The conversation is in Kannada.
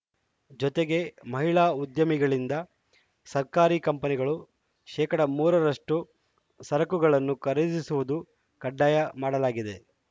ಜೊತೆಗೆ ಮಹಿಳಾ ಉದ್ದಿಮೆಗಳಿಂದ ಸರ್ಕಾರಿ ಕಂಪನಿಗಳು ಶೇಕಡಾ ಮೂರರಷ್ಟುಸರಕುಗಳನ್ನು ಖರೀದಿಸುವುದು ಕಡ್ಡಾಯ ಮಾಡಲಾಗಿದೆ